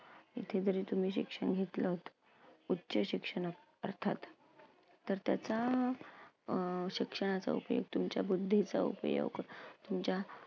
तिथे जरी तुम्ही शिक्षण घेतलंत उच्च शिक्षण अर्थात तर त्याचा अं शिक्षणाचा उपयोग तुमच्या बुद्धीचा उपयोग तुमच्या